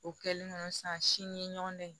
O kɛlen kɔnɔ sani ɲɔgɔndɛ